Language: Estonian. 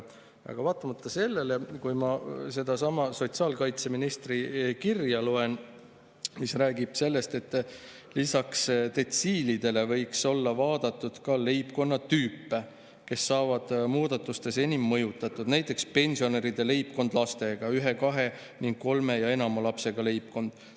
Aga vaatamata sellele, loen sedasama sotsiaalkaitseministri kirja: "Lisaks detsiilidele võiks olla vaadatud ka leibkonnatüüpe, kes saavad muudatustes enim mõjutatud, näiteks pensionäride leibkond, ühe-kahe ning kolme ja enama lapsega leibkond.